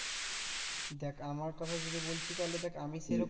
দেখ আমার কথা যদি বলছিস তাহলে দেখ আমি সেরকম